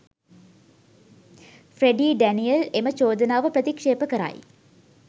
Freddie Daniel එම චෝදනාව ප්‍රතික්ෂේප කරයි